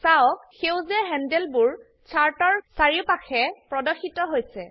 চাওক সেউজীয়া হ্যান্ডলবোৰ চাৰ্ট এৰ চাৰিওপাশে প্ৰদৰ্শিত হৈছে